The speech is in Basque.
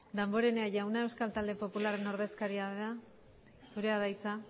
damborenea jauna euskal talde popularraren ordezkaria zurea da hitza